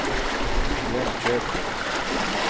Jönköping